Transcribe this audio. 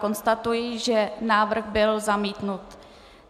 Konstatuji, že návrh byl zamítnut.